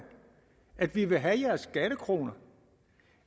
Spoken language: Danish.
at vi vil have deres skattekroner